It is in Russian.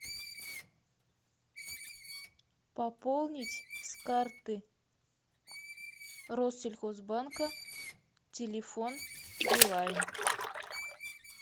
пополнить с карты россельхозбанка телефон билайн